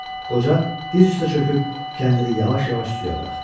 Qoca diz üstə çöküb kəndiri yavaş-yavaş suya buraxdı.